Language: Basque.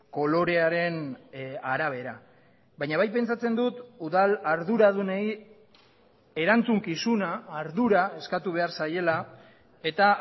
kolorearen arabera baina bai pentsatzen dut udal arduradunei erantzukizuna ardura eskatu behar zaiela eta